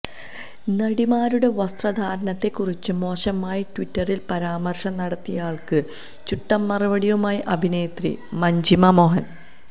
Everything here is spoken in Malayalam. നടിമാരുടെ വസ്ത്രധാരണത്തെ കുറിച്ച് മോശമായി ട്വിറ്ററിൽ പരാമർശം നടത്തിയയാൾക്ക് ചുട്ട മറുപടിയുമായി അഭിനേത്രി മഞ്ജിമ മോഹൻ